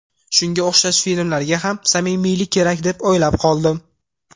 Shunga o‘xshash filmlarga ham samimiylik kerak deb o‘ylab qoldim.